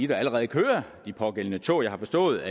der allerede kører de pågældende tog jeg har forstået